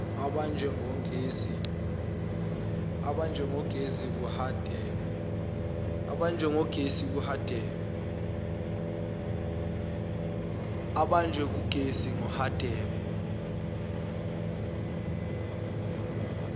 obanjwe ngugesi kuhadebe